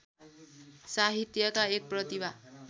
साहित्यका एक प्रतिभा